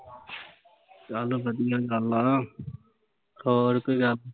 ਚੱਲ ਵਧੀਆ ਗੱਲ ਆ